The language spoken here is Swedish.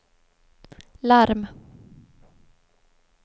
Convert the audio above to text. larm